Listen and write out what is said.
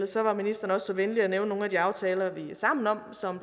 så var ministeren også så venlig at nævne nogle af de aftaler vi er sammen om som